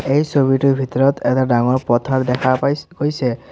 এই ছবিটোৰ ভিতৰত এটা ডাঙৰ পথাৰ দেখা পাইছোঁ হৈছে।